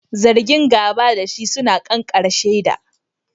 Zargin gaba da shi suna da ƙanƙaren shaida.